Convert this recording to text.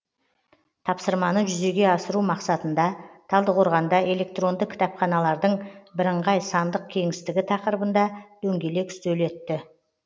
тапсырманы жүзеге асыру мақсатында талдықорғанда электронды кітапханалардың бірыңғай сандық кеңістігі тақырыбында дөңгелек үстел өтті